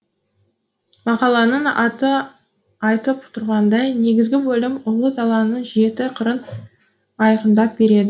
мақаланың аты айтып тұрғандай негізгі бөлім ұлы даланың жеті қырын айқындап береді